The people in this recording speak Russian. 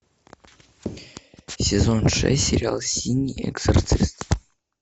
сезон шесть сериал синий экзорцист